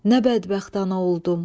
Nə bədbəxt ana oldum.